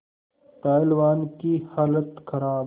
पहलवान की हालत खराब